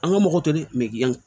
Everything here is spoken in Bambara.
An ka mɔgɔ to de